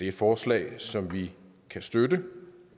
et forslag som vi kan støtte